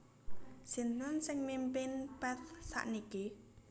Sinten sing mimpin Path sakniki